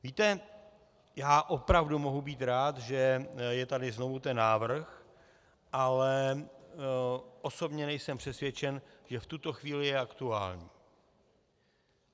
Víte, já opravdu mohu být rád, že je tady znovu ten návrh, ale osobně nejsem přesvědčen, že v tuto chvíli je aktuální.